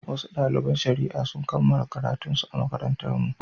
Wasu daliban shari'a sun kammala karatunsu a makarantarmu.